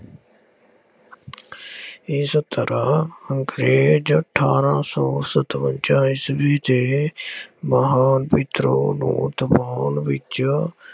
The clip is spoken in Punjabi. ਇਸ ਤਰ੍ਹਾਂ ਅੰਗਰੇਜ਼ ਅਠਾਰਾਂ ਸੌ ਸਤਵੰਜ਼ਾ ਈਸਵੀ ਦੇ ਮਹਾਨ ਵਿਦਰੋਹ ਨੂੰ ਦਬਾਉਣ ਵਿੱਚ